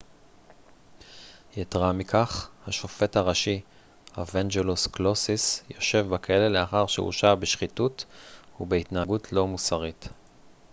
יתרה מכך השופט הראשי אוואנג'לוס קלוסיס יושב בכלא לאחר שהורשע בשחיתות ובהתנהגות לא מוסרית